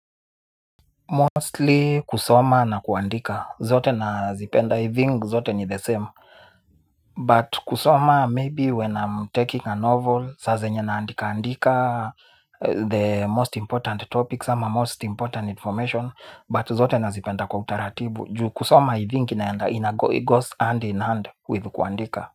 Mostly kusoma na kuandika. Zote nazipenda. I think zote ni the same. But kusoma maybe when I'm taking a novel, saa zenye na andika andika the most important topics ama most important information. But zote na zipenda kwa utaratibu juu kusoma i think inaenda it goes hand in hand with kuandika.